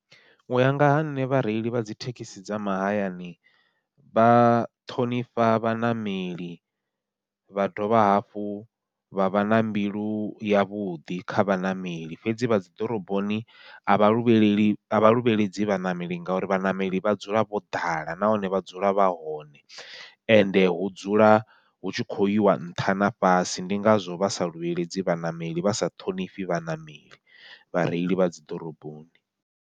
Uya nga ha nṋe vhareili vha dzi thekhisi dza mahayani, vha ṱhonifha vhaṋameli vha dovha hafhu vha vha na mbilu yavhuḓi kha vhaṋameli, fhedzi vha dzi ḓoroboni avha luvheleli avha luvheledzi vhaṋameli ngauri vhaṋameli vha dzula vho ḓala nahone vha dzula vha hone. Ende hu dzula hu tshi khou yiwa nṱha na fhasi ndi ngazwo vha sa luvheledzi vhaṋameli, vha sa ṱhonifhi vhaṋameli vhareili vha dzi ḓoroboni.